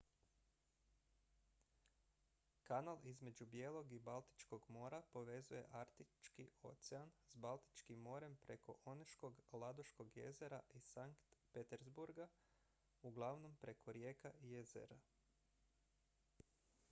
kanal između bijelog i baltičkog mora povezuje arktički ocean s baltičkim morem preko oneškog ladoškog jezera i sankt peterburga uglavnom preko rijeka i jezera